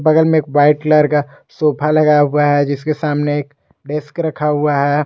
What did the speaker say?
बगल में एक वाइट कलर का सोफा लगा हुआ है जिसके सामने डेस्क रखा हुआ है।